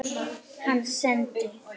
Hann sendi